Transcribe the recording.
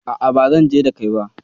A'a, ba zanje da kai ba.